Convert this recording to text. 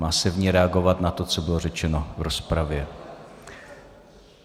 Má se v ní reagovat na to, co bylo řečeno v rozpravě.